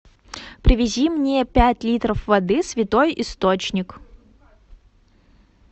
привези мне пять литров воды святой источник